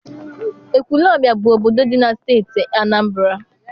Ekwulobia bụ obodo dị na Steeti Anambra.